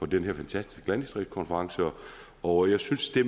den her fantastiske landdistriktskonference og jeg synes det